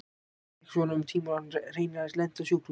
Þetta gekk svona um tíma og hann hreinlega lenti á sjúkrahúsi.